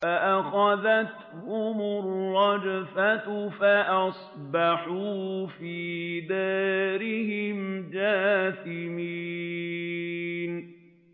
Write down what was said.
فَأَخَذَتْهُمُ الرَّجْفَةُ فَأَصْبَحُوا فِي دَارِهِمْ جَاثِمِينَ